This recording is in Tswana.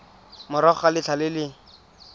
morago ga letlha le le